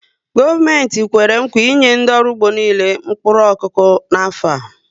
Gọọmenti Kwèrè nkwà i enye ndị ọrụ ugbo niile mkpụrụ okụkụ n'afọ a